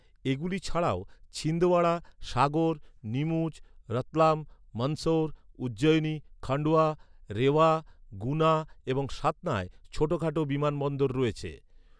এগুলি ছাড়াও ছিন্দওয়াড়া, সাগর, নিমুচ, রতলাম, মন্দসৌর, উজ্জয়িনী, খান্ডোয়া, রেওয়া, গুনা এবং সাতনায় ছোটখাটো বিমানবন্দর রয়েছে।